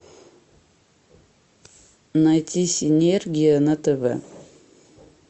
найти синергия на тв